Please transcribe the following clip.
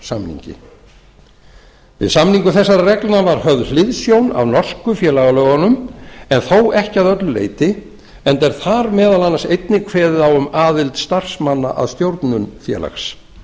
félagssamningi við samningu þessara reglna var höfð hliðsjón af norsku félagalögunum en þó ekki að öllu leyti enda er þar meðal annars einnig kveðið á um aðild starfsmanna að stjórnun félags